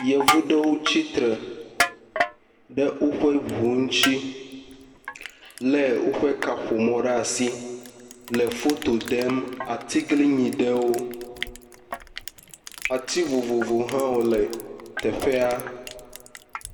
Yevu ɖewo tsitre ɖe woƒe ŋu ŋuti lé woƒe kaƒomɔwo ɖe asi le foto ɖem atiglinyi ɖewo, ati vovovowo hã wole teƒea.